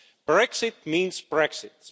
Brexit means Brexit.